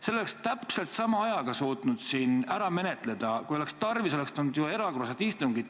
Selle oleks täpselt sama ajaga suutnud siin ära menetleda, kui oleks tarvis olnud, oleksid tulnud erakorralised istungid.